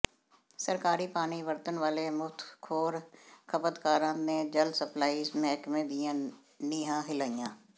ਸਰਕਾਰੀ ਪਾਣੀ ਵਰਤਣ ਵਾਲੇ ਮੁਫ਼ਤਖ਼ੋਰ ਖਪਤਕਾਰਾਂ ਨੇ ਜਲ ਸਪਲਾਈ ਮਹਿਕਮੇ ਦੀਆਂ ਨੀਹਾਂ ਹਿਲਾਈਆਂ